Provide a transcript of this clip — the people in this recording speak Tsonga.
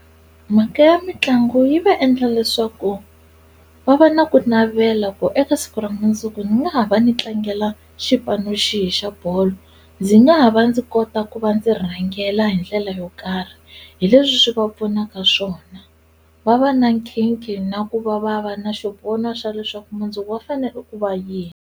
Mhaka ya mitlangu yi va endla leswaku va va na ku navela ku eka siku ra mundzuku ni nga ha va ni tlangela xipano xi hi xa bolo ndzi nga ha va ndzi ku kota ku va ndzi rhangela hi ndlela yo karhi hi leswi swi va pfunaka swona va va na nkhinkhi na ku va va va na xivono xa leswaku mundzuku va fanele ku va yini.